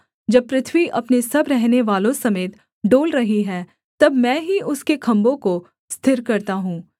जब पृथ्वी अपने सब रहनेवालों समेत डोल रही है तब मैं ही उसके खम्भों को स्थिर करता हूँ सेला